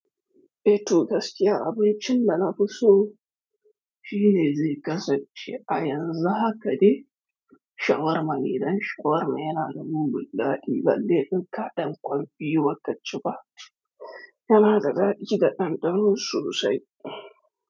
Eh toh gaskiya, abincin da na fi so shine zai kasance a yanzu haka dai shawarma ne, dan shawarma yana da mugun daɗi, balle in ka ɗan ƙwan biyu ba kaci ba, yana da daɗi da ɗanɗano sosai.